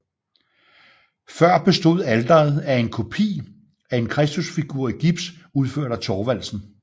Før bestod alteret af en kopi af en Kristusfigur i gips udført af Thorvalsen